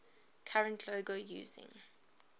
current logo using